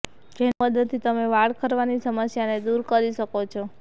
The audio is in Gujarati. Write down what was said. જેની મદદથી તમે વાળ ખરવાની સમસ્યાને દૂર કરી શકો છો